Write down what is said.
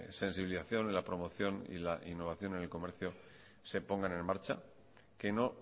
sensibilización y la promoción y la innovación en el comercio se pongan en marcha que no